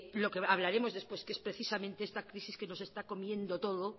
lo que hablaremos después que es precisamente esta crisis que nos está comiendo todo